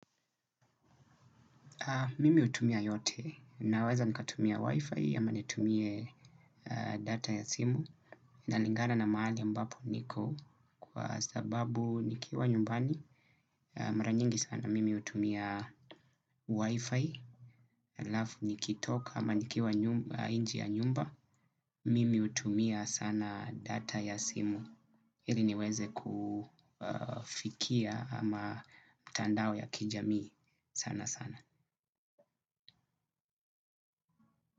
Mimi hutumia yote, naweza nikatumia wifi, ama nitumie data ya simu, inalingana na mahali ambapo niko, kwa sababu nikiwa nyumbani, mara nyingi sana, mimi hutumia wifi, alafu nikitoka, ama nikiwa nje ya nyumba, mimi hutumia sana data ya simu, ili niweze kufikia ama tandao ya kijamii sana sana.